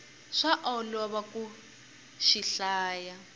swa olova ku xi hlaya